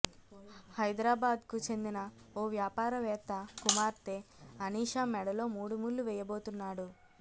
హైదరాబాద్కు చెందిన ఓ వ్యాపారవేత్త కుమార్తె అనీషా మెడలో మూడుముళ్లు వేయబోతున్నాడు